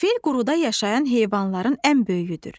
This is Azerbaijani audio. Fil quruda yaşayan heyvanların ən böyüyüdür.